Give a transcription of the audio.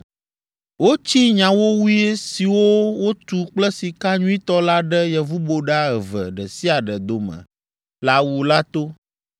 Wotsi nyawowoe siwo wotu kple sika nyuitɔ la ɖe yevuboɖa eve ɖe sia ɖe dome le awu la to.